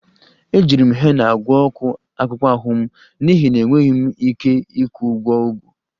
Ejiri m hena gwọọ ọkụ akpụkpọ ahụ m n'ihi na enweghị m ike ịkwụ ụgwọ ọgwụ